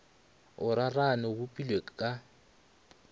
o rarane o bopilwe ka